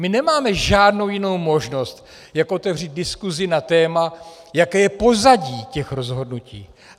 My nemáme žádnou jinou možnost, jak otevřít diskusi na téma, jaké je pozadí těch rozhodnutí.